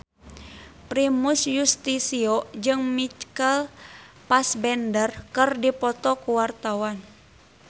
Primus Yustisio jeung Michael Fassbender keur dipoto ku wartawan